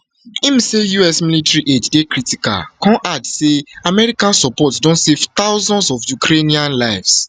im say us military aid dey critical come add say american support don save thousands of ukrainian lives